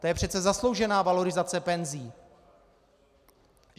To je přece zasloužená valorizace penzí.